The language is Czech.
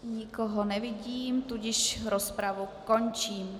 Nikoho nevidím, tudíž rozpravu končím.